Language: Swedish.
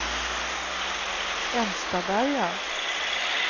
Enstaberga